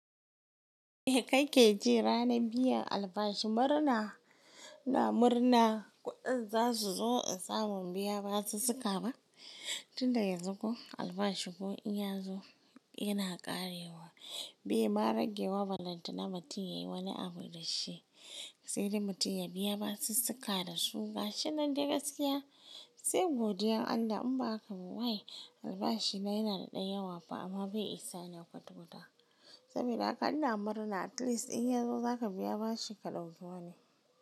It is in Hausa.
Em ka ke ji ranan biyan albashi murna ina murna. Kuɗin za su zo in samu biya basus-suka na. Tun da yanzu ko albashinmu in ya zo yana ƙarewa. Bai ma rage wa ballenta na mutum yayi woni abu da ci. Sai dai mutum ya biya basus-suka da su. Gashinan dai gaskiya sai godiyan Allah in ba haka ba wai albashi na yana ɗan yawa fa amma bai isa na kwata-kwata. Saboda haka ina murna at least in ya zo za ka biya ba shi ka ɗauki woni.